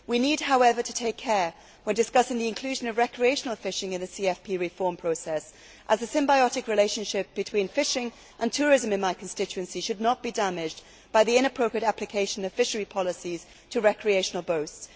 We need, however, to take care when discussing the inclusion of recreational fishing in the CFP reform process, as a symbiotic relationship between fishing and tourism in my constituency should not be damaged by the inappropriate application of fishery policies to recreational boats.